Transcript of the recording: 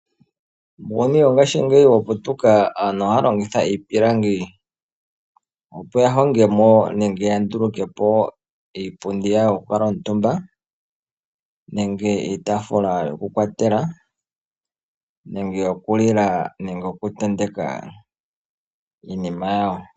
Uuyuni wongashingeyi wa putuka, aantu ohaya longitha iipilangi opo ya honge mo nenge ya nduluke po iipundi yawo yokukuutumba nenge iitaafula yokukwatela, nenge yokulila nenge yokutenteka iinima yawo.